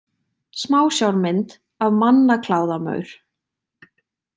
Smásjármynd af mannakláðamaur.